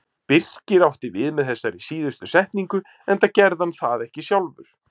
Birkir átti við með þessari síðustu setningu enda gerði hann það ekki sjálfur.